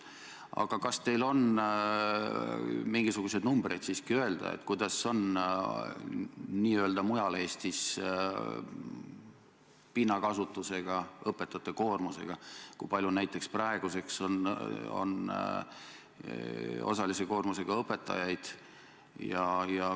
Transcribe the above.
Aga kas teil on mingisuguseid numbreid siiski öelda, kuidas on n-ö mujal Eestis pinnakasutusega, õpetajate koormusega, kui palju näiteks praeguseks on osalise koormusega õpetajaid?